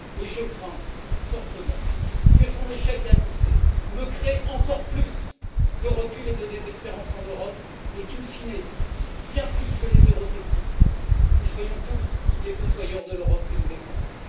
Je crains fortement que son échec annoncé ne crée encore plus de recul et de désespérance en Europe, et qu'in fine, bien plus que les eurosceptiques, nous soyons tous les fossoyeurs de l'Europe que nous défendons.